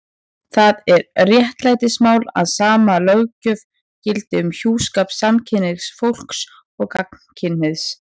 Það er réttlætismál að sama löggjöf gildi um hjúskap samkynhneigðs fólks og gagnkynhneigðs.